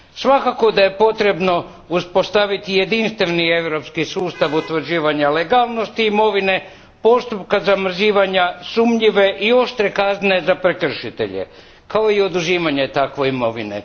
Svakako da je potrebno uspostaviti jedinstveni europski sustav utvrđivanja legalnosti imovine, postupka zamrzavanja sumnjive i oštre kazne za prekršitelje, kao i oduzimanje takve imovine.